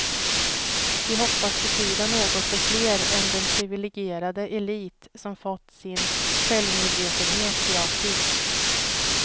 Vi hoppas betyda något för fler än den privilegierade elit som fått sin självmedvetenhet gratis.